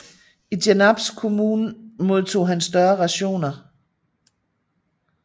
I Genarps kommun modtog han større rationer